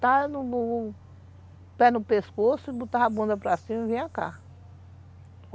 o pé no pescoço, botava a bunda para cima e vinha cá.